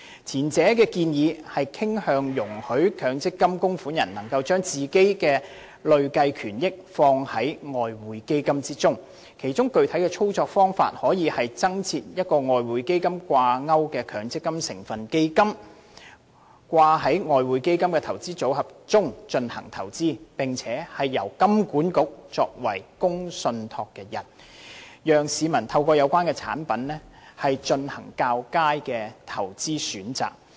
前一項建議傾向容許強積金供款人能夠將自己的累計權益放於外匯基金，其具體操作方法可以是增設一項與外匯基金掛鈎的強積金成分基金，併入外匯基金的投資組合中進行投資，並由香港金融管理局作為公共信託人，讓市民透過有關產品進行較佳的投資選擇。